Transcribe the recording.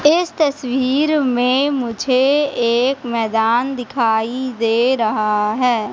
इस तस्वीर में मुझे एक मैदान दिखाई दे रहा है।